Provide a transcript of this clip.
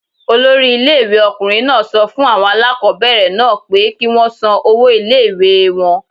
Olori ilé ìwé ọkùnrin náà sọ fún àwọn aláàkọ́bẹ̀rẹ̀ náà pé kí wọ́n san owó ilé ìwée wọn.